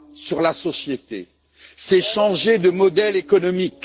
sur la société en changeant de modèle économique.